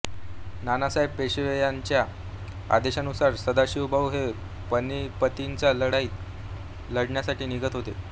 नानासाहेब पेशवे यांच्या आदेशानुसार सदाशिवभाऊ हे पानिपतची लढाई लढण्यासाठी निघत होते